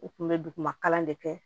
U kun bɛ duguma kalan de kɛ